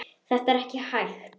Það er ekki hægt